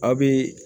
A bɛ